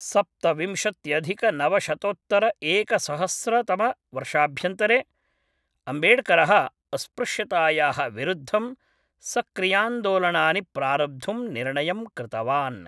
सप्तविंशत्यधिकनवशतोत्तरएकसहस्रतमवर्षाभ्यन्तरे, अम्बेडकरः अस्पृश्यतायाः विरुद्धं सक्रियान्दोलनानि प्रारब्धुं निर्णयं कृतवान्।